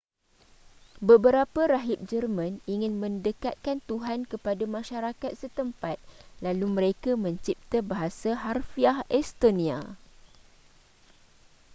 beberapa rahib jerman ingin mendekatkan tuhan kepada masyarakat setempat lalu mereka mencipta bahasa harfiah estonia